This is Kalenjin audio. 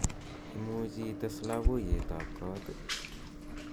imuje ites loboiyet ab koot ii